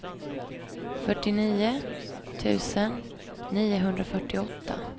fyrtionio tusen niohundrafyrtioåtta